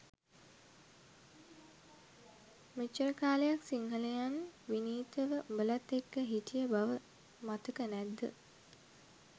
මෙච්චර කාලයක් සිංහලයන් විනීතව උඔලත් එක්ක හිටිය බව මතක නැත්ද?